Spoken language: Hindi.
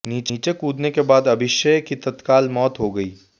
नीचे कूदने के बाद अभिशय की तत्काल मौत हो गयी